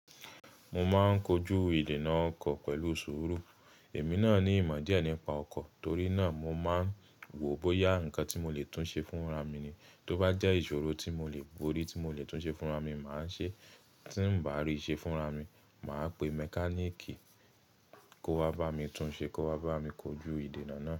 Mo máa ń kojú ìdènà ọkọ̀ pẹ̀lú ìṣòro. Èmi náà ní ìmọ̀ díẹ̀ nípa ọkọ̀, torí náà mo máa ń wò bóyá nǹkan tí mo lè tún ṣe fún ra mi ni. Tó bá jẹ́ ìṣòro tí mo lè borí, tí mo lè tún ṣe fún ra mi, màá ṣe. Tí ń bá rí ṣe fún ra mi, màá pe mẹkáníìkì kó wá bá mi tún ṣe, kó wá bá mi kojú ìdènà náà.